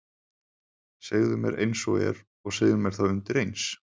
Segðu mér einsog er og segðu mér það undireins.